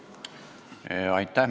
Aitäh!